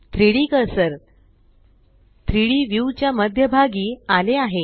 3Dकर्सर 3डी व्यू च्या मध्य भागी आले आहे